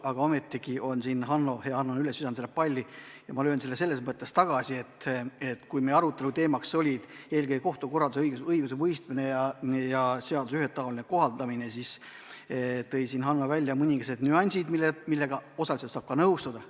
Aga hea Hanno on selle palli üles visanud ja ma löön selle tagasi, tunnistades, et kui meie arutelu teemaks oli eelkõige kohtukorraldus, õigusemõistmine ja seaduse ühetaoline kohaldamine, siis Hanno tõi välja mõningased nüansid, millega osaliselt saab nõustuda.